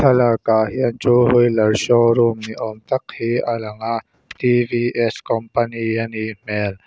lakah hian two wheeler show room ni awm tak hi a lang a company a nih hmel.